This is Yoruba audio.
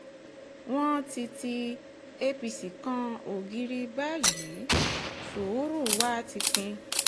wọ́n ti ti apc kan ògiri báyìí sùúrù wa ti pín